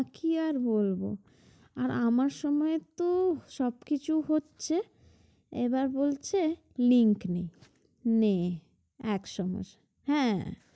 আহ কি আর বলব আর আমার সময় তো সব কিছু হচ্ছে এবার বলছে link নেই নে এক সমস্যা হ্যাঁ